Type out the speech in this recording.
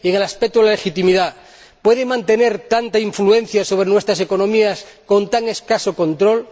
Y, en el aspecto de la legitimidad, ¿pueden las agencias mantener tanta influencia sobre nuestras economías con tan escaso control?